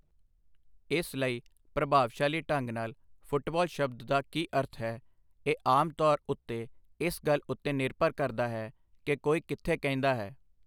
ਇਸ ਲਈ, ਪ੍ਰਭਾਵਸ਼ਾਲੀ ਢੰਗ ਨਾਲ, 'ਫੁੱਟਬਾਲ' ਸ਼ਬਦ ਦਾ ਕੀ ਅਰਥ ਹੈ, ਇਹ ਆਮ ਤੌਰ ਉੱਤੇ ਇਸ ਗੱਲ ਉੱਤੇ ਨਿਰਭਰ ਕਰਦਾ ਹੈ ਕਿ ਕੋਈ ਕਿੱਥੇ ਕਹਿੰਦਾ ਹੈ।